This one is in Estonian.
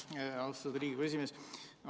Aitäh, austatud Riigikogu esimees!